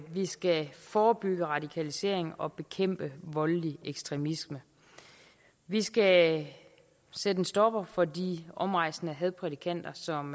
vi skal forebygge radikalisering og bekæmpe voldelig ekstremisme vi skal sætte en stopper for de omrejsende hadprædikanter som